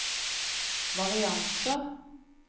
varianter